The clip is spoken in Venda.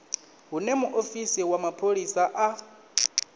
hune muofisi wa mapholisa a